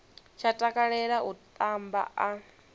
tsha takalela u tamba a